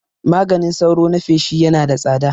Maganin sauro na feshi Yana da tsada